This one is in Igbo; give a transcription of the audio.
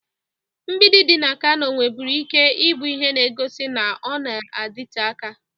Mgbidi dị na Kano nwerebu ike bụ ihe na-egosi na ọ na-adịte aka.